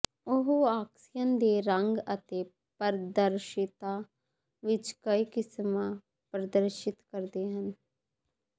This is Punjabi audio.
ਉਹ ਆਕਸੀਅਨ ਦੇ ਰੰਗ ਅਤੇ ਪਾਰਦਰਸ਼ਿਤਾ ਵਿਚ ਕਈ ਕਿਸਮਾਂ ਪ੍ਰਦਰਸ਼ਿਤ ਕਰਦੇ ਹਨ